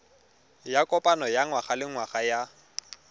ya kopano ya ngwagalengwaga ya